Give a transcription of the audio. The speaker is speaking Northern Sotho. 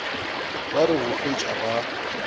ba re go fetša ba